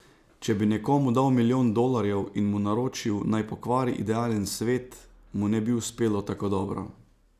Če bi nekomu dal milijon dolarjev in mu naročil naj pokvari idealen svet, mu ne bi uspelo tako dobro.